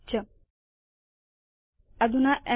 च अधुना एमवी